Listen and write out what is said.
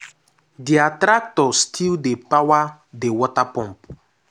their tractor still dey power the water pump.